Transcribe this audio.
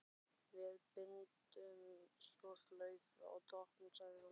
Við bindum svo slaufu á toppinn, sagði hún.